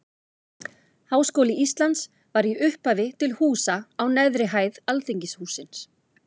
Háskóli Íslands var í upphafi til húsa á neðri hæð Alþingishússins.